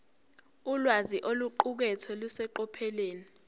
ulwazi oluqukethwe luseqophelweni